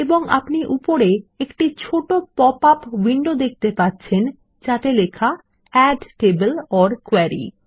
এবং আপনি উপরে একটি ছোট পপআপ উইন্ডো দেখতে পাচ্ছেন যাতে লেখা এড টেবল ওর কোয়েরি